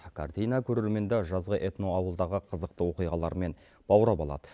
картина көрерменді жазғы этноауылдағы қызықты оқиғаларымен баурап алады